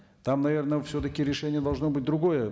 там наверное все таки решение должно быть другое